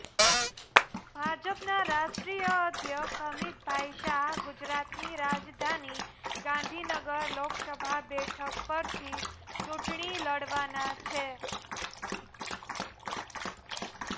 ભાજપના રાષ્ટ્રીય અધ્યક્ષ અમિતભાઈ શાહ ગુજરાતની રાજધાની ગાંધીનગર લોકસભા બેઠક પરથી ચુંટણી લડવાના છે